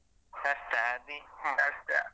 ಕಷ್ಟ.